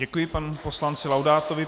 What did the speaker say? Děkuji panu poslanci Laudátovi.